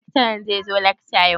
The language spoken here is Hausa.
Lakcaran zai zo lakca yau?